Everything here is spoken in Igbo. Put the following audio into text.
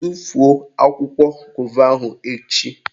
Tufuo akwụkwọ gova ahụ echi!